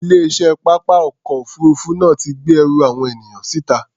Ilé-iṣẹ́ pápá ọkọ̀ òfuurufú náà ti gbé ẹrù àwọn ènìyàn síta.